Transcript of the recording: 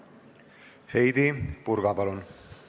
Heidy Purga, palun!